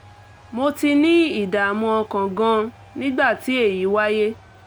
mo ti ní ìdààmú ọkàn gan-an nígbà tí èyí wáyé